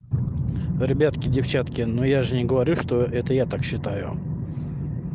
ребятки девчонки но я же не говорю что это я так считаю